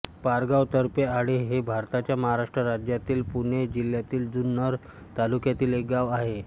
पारगाव तर्फे आळे हे भारताच्या महाराष्ट्र राज्यातील पुणे जिल्ह्यातील जुन्नर तालुक्यातील एक गाव आहे